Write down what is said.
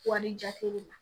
Wari jate de ma